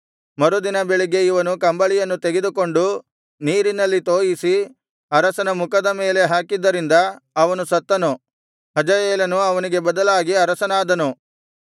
ಮರುದಿನ ಬೆಳಿಗ್ಗೆ ಇವನು ಕಂಬಳಿಯನ್ನು ತೆಗೆದುಕೊಂಡು ನೀರಿನಲ್ಲಿ ತೋಯಿಸಿ ಅರಸನ ಮುಖದ ಮೇಲೆ ಹಾಕಿದ್ದರಿಂದ ಅವನು ಸತ್ತನು ಹಜಾಯೇಲನು ಅವನಿಗೆ ಬದಲಾಗಿ ಅರಸನಾದನು